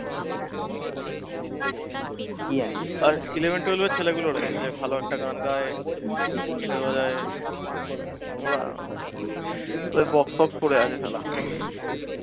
আরে eleven, twelve এর ছেলেগুলোরে ভালো একটা গান গায়, guitar বাজায় ওরা ওদের box ফক্স পড়ে আছে